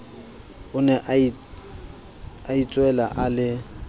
o nea itswele a le